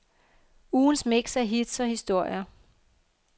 Ugens mix af hits og historier.